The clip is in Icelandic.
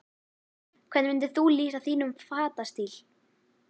Hvernig myndir þú lýsa þínum fatastíl?